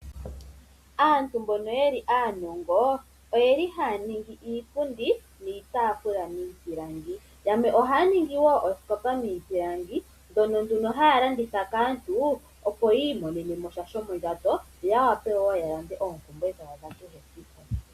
Aantu mbono aanongo ohaya ningi iipundi niitaafula miipilangi. Yamwe ohaya ningi wo ooskopa miipilangi, ndhono nduno haya landitha po kaantu opo yi imonenesha shomondjato yo ya wape yalande oompumbwe dhawo dhakehe esiku.